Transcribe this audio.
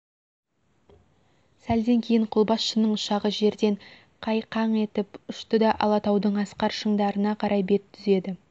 сәлден кейін қолбасшының ұшағы жерден қайқаң етіп ұшты да алатаудың асқар шыңдарына қарай бет түзеді